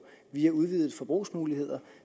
via udvidede forbrugsmuligheder